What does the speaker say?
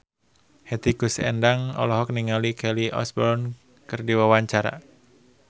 Hetty Koes Endang olohok ningali Kelly Osbourne keur diwawancara